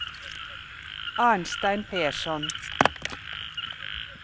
Arnstein Persson